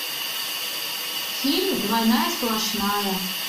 фильм двойная сплошная